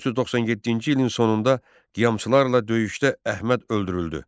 1497-ci ilin sonunda qiyamçılarla döyüşdə Əhməd öldürüldü.